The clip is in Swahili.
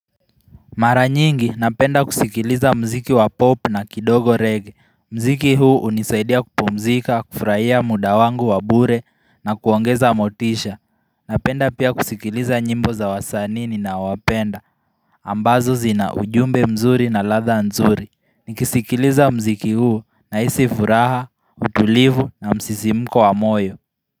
Mara nyingi napenda kusikiliza mziki wa pop na kidogo reggae, mziki huu unisaidia kupumzika, kufurahia muda wangu wa bure na kuongeza motisha Napenda pia kusikiliza nyimbo za wasanii nina wapenda, ambazo zina ujumbe mzuri na ladha nzuri nikisikiliza mziki huu nahisi furaha, utulivu na msisimko wa moyo.